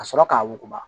Ka sɔrɔ k'a wuguba